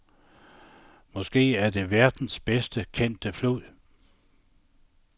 Måske er det verdens bedst kendte flod.